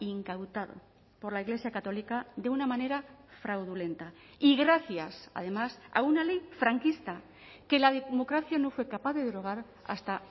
incautado por la iglesia católica de una manera fraudulenta y gracias además a una ley franquista que la democracia no fue capaz de derogar hasta